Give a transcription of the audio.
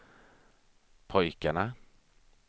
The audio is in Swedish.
pojkarna